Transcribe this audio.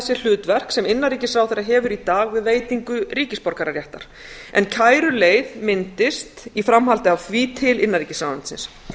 sér hlutverk sem innanríkisráðherra hefur í dag við veitingu ríkisborgararéttar en kæruleið myndist í framhaldi af því til innanríkisráðuneytið